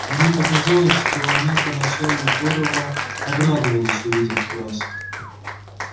мне показалось что она поначалу здорово обрадовалась увидев нас